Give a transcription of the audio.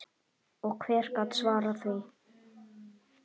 Og hver gat svarað því?